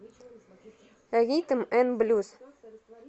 ритм н блюз